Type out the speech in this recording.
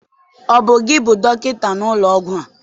Ọ bụ gị bụ dọkịta n'ụlọ ọgwụ a?